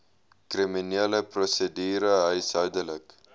kriminele prosedure huishoudelike